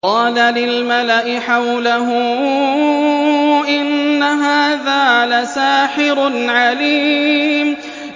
قَالَ لِلْمَلَإِ حَوْلَهُ إِنَّ هَٰذَا لَسَاحِرٌ عَلِيمٌ